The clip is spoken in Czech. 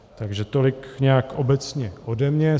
Takže tolik nějak obecně ode mě.